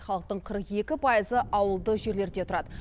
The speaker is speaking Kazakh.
халықтың қырық екі пайызы ауылды жерлерде тұрады